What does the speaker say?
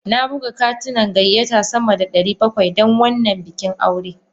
Na buga katunan gayyata sama da ɗari bakwai don wannan bikin aure.